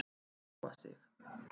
Róa sig.